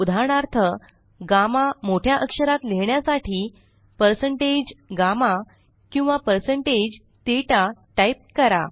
उदाहरणार्थ गम्मा मोठ्या अक्षरात लिहिण्यासाठी160GAMMA किंवा160THETA टाइप करा